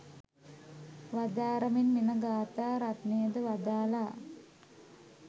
වදාරමින් මෙම ගාථා රත්නයද වදාළා.